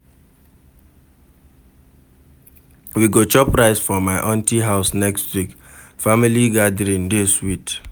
We go chop rice for my aunty house next week, family gathering dey sweet.